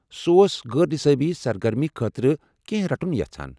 سہ اوس غٲر نصٲبی سرگرمی خٲطرٕ کینٛہہ رٹُن یژھان۔